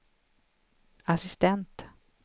assistent